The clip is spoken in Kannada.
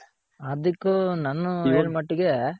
ಹಾರ್ದಿಕ್ ನನಗ್ ಅನಿಸಿದ್ ಮಟ್ಗೆ